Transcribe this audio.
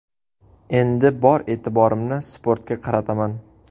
Endi bor e’tiborimni sportga qarataman !